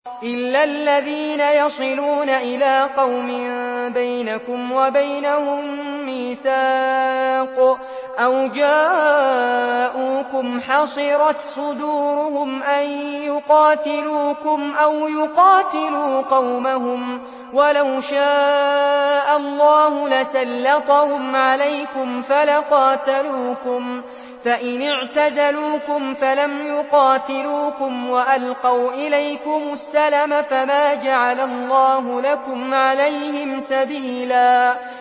إِلَّا الَّذِينَ يَصِلُونَ إِلَىٰ قَوْمٍ بَيْنَكُمْ وَبَيْنَهُم مِّيثَاقٌ أَوْ جَاءُوكُمْ حَصِرَتْ صُدُورُهُمْ أَن يُقَاتِلُوكُمْ أَوْ يُقَاتِلُوا قَوْمَهُمْ ۚ وَلَوْ شَاءَ اللَّهُ لَسَلَّطَهُمْ عَلَيْكُمْ فَلَقَاتَلُوكُمْ ۚ فَإِنِ اعْتَزَلُوكُمْ فَلَمْ يُقَاتِلُوكُمْ وَأَلْقَوْا إِلَيْكُمُ السَّلَمَ فَمَا جَعَلَ اللَّهُ لَكُمْ عَلَيْهِمْ سَبِيلًا